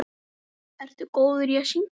Ertu góður í að syngja?